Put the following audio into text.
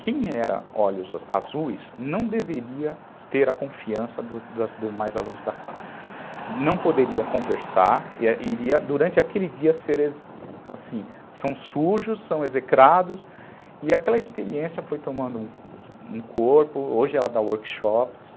Quem era olhos azuis não deveria ter a confiança dos demais alunos da classe, não poderia conversar, iria durante aquele dia ser assim, são sujos, são execrados e aquela experiência foi tomando um corpo, hoje ela dá workshops.